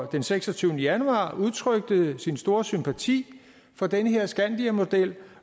den seksogtyvende januar udtrykte sin store sympati for den her skandiamodel